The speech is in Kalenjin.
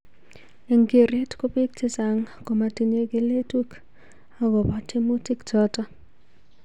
Eng keret ko bik chechang komatinye keletuk akobo tiemutik chotok.